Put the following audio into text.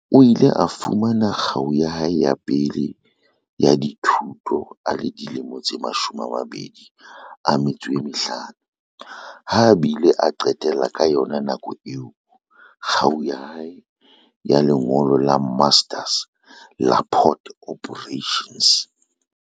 O ile a fumana kgau ya hae ya pele ya dithuto a le dilemo tse 25, ha a bile a qetela ka yona nako eo kgau ya hae ya lengolo la Master's la Port Operations.